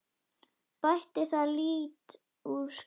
Bætti það lítt úr skák.